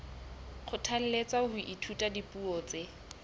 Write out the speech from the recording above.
kgothalletswa ho ithuta dipuo tse